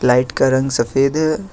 Light का रंग सफेद है।